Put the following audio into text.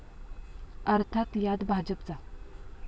अर्थात यात भाजपचा